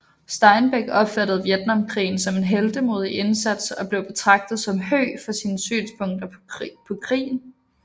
Steinbeck opfattede Vietnamkrigen som en heltemodig indsats og blev betragtet som høg for sine synspunkter på krigen